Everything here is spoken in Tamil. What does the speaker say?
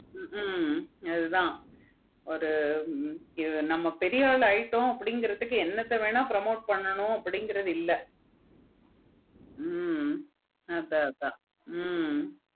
ஹம் அதான் ஒரு நம்ம பெரியவள் ஆகிட்டோம் அப்டிங்கிறதுக்கு என்னத்த வேணா promote பண்ணனும் அப்படிங்கிறது ஹம் அதன் அதன் ஹம்